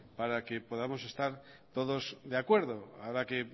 para que podamos estar todos de acuerdo ahora que